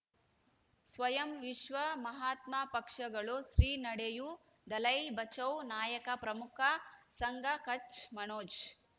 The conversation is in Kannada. ಸ್ವಯಂ ವಿಶ್ವ ಮಹಾತ್ಮ ಪಕ್ಷಗಳು ಶ್ರೀ ನಡೆಯೂ ದಲೈ ಬಚೌ ನಾಯಕ ಪ್ರಮುಖ ಸಂಘ ಕಚ್ ಮನೋಜ್